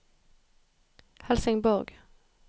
Helsingborg